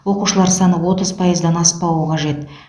оқушылар саны отыз пайыздан аспауы қажет